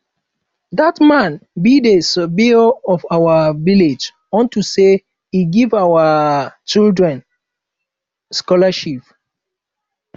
um dat man be the savior of our village unto say e give our um children um scholarship